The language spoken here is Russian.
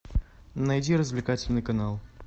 найди развлекательный канал